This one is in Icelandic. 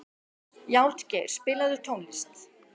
Játgeir, spilaðu tónlist.